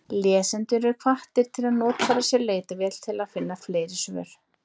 Lesendur eru hvattir til að notfæra sér leitarvélina til að finna fleiri svör.